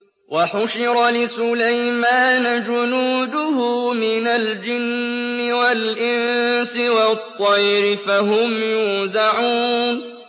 وَحُشِرَ لِسُلَيْمَانَ جُنُودُهُ مِنَ الْجِنِّ وَالْإِنسِ وَالطَّيْرِ فَهُمْ يُوزَعُونَ